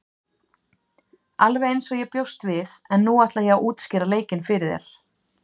Alveg eins og ég bjóst við en nú ætla ég að útskýra leikinn fyrir þér.